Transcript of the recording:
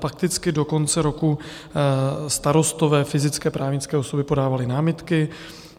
Fakticky do konce roku starostové, fyzické, právnické osoby, podávali námitky.